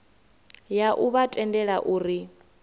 ya u vha tendela uri